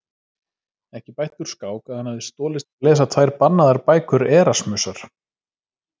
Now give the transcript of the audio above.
Ekki bætti úr skák að hann hafði stolist til að lesa tvær bannaðar bækur Erasmusar.